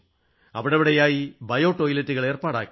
അവിടവിടെയായി bio ടോയ്ലറ്റുകൾ ഏർപ്പാടാക്കി